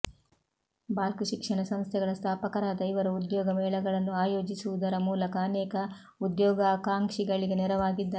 ಬಾಲ್ಕ್ ಶಿಕ್ಷಣ ಸಂಸ್ಥೆಗಳ ಸ್ಥಾಪಕರಾದ ಇವರು ಉದ್ಯೋಗ ಮೇಳಗಳನ್ನು ಆಯೋಜಿಸುವುದರ ಮೂಲಕ ಅನೇಕ ಉದ್ಯೋಗಾಕಾಂಕ್ಷಿಗಳಿಗೆ ನೆರವಾಗಿದ್ದಾರೆ